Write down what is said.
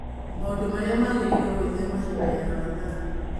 Maũndũ marĩa wagĩrĩirũo gwĩthema hĩndĩ ya Ramadhan